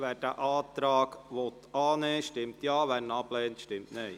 Wer diesen Antrag annehmen will, stimmt Ja, wer diesen ablehnt, stimmt Nein.